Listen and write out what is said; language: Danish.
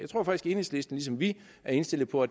enhedslisten ligesom vi er indstillet på